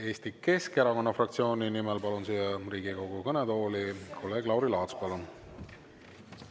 Eesti Keskerakonna fraktsiooni nimel palun Riigikogu kõnetooli kolleeg Lauri Laatsi.